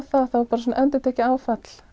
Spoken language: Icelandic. það var bara svona endurtekið áfall